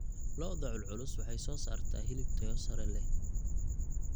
Lo'da culculus waxay soo saartaa hilib tayo sare leh.